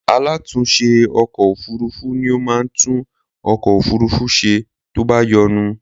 Alatúnse ọkọ òfurufú ni ó máa ń tún ọkọ òfurufú ṣe tó bá yọnu